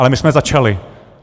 Ale my jsme začali.